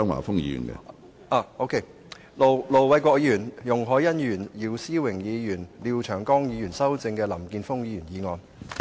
進一步修正經盧偉國議員、容海恩議員、姚思榮議員及廖長江議員修正的林健鋒議員議案。